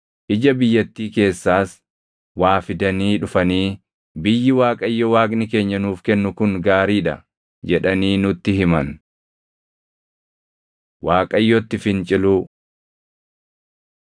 Ija biyyattii keessaas waa fidanii dhufanii, “Biyyi Waaqayyo Waaqni keenya nuuf kennu kun gaarii dha” jedhanii nutti himan. Waaqayyotti Finciluu